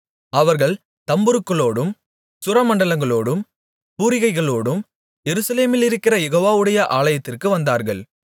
அவர்கள் தம்புருக்களோடும் சுரமண்டலங்களோடும் பூரிகைகளோடும் எருசலேமிலிருக்கிற யெகோவாவுடைய ஆலயத்திற்கு வந்தார்கள்